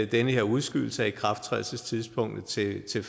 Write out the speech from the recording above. den her udskydelse af ikrafttrædelsestidspunktet til